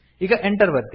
ಈಗ Enter ಒತ್ತಿ